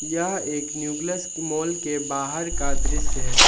यह एक nucleus mall के बाहर का दृश्य है।